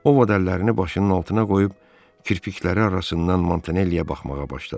Ovod əllərini başının altına qoyub kirpikləri arasından Montanelli-yə baxmağa başladı.